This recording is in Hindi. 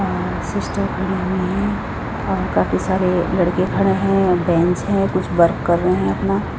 अ सिस्टर खड़ी हुई है और काफी सारे लड़के खड़े हैं बेंच है कुछ वर्क कर रहे अपना--